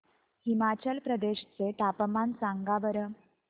हिमाचल प्रदेश चे तापमान सांगा बरं